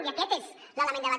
i aquest és l’element de debat